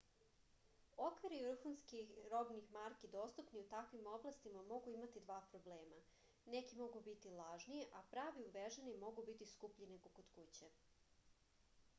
okviri vrhunski robnih marki dostupni u takvim oblastima mogu imati dva problema neki mogu biti lažni a pravi uveženi mogu biti skuplji nego kod kuće